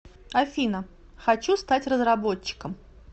афина хочу стать разработчиком